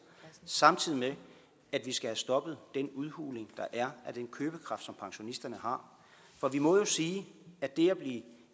samtidig med at vi skal have stoppet den udhuling der er af den købekraft som pensionisterne har for vi må jo sige at det at blive